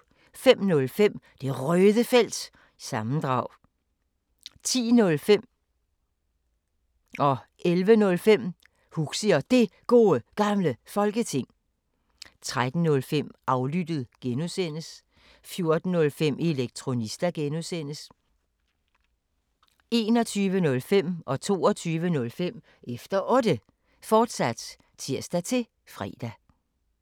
05:05: Det Røde Felt – sammendrag 10:05: Huxi og Det Gode Gamle Folketing 11:05: Huxi og Det Gode Gamle Folketing, fortsat 13:05: Aflyttet (G) 14:05: Elektronista (G) 21:05: Efter Otte, fortsat (tir-fre) 22:05: Efter Otte, fortsat (tir-fre)